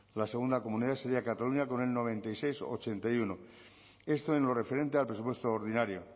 la segunda comunidad sería cataluña con el noventa y seis coma ochenta y uno esto en lo referente al presupuesto ordinario